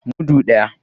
Mudu daya.